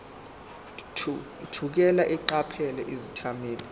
thukela eqaphela izethameli